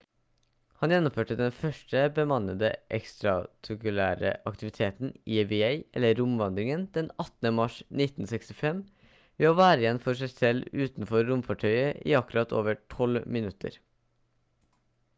han gjennomførte den første bemannede ekstratakulære aktiviteten eva eller «romvandringen» den 18 mars 1965 ved å være igjen for seg selv utenfor romfartøyet i akkurat over 12 minutter